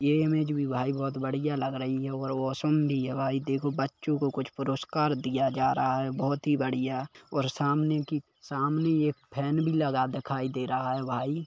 ये इमेज भी भाई बोहोत बढ़िया लग रही है और वाशरूम भी है भाई देखो बच्चों को कुछ पुरस्कार दिया जा रहा है बोहोत ही बढ़िया और सामने की सामने ये फैन भी लगा दिखाई दे रहा है भाई।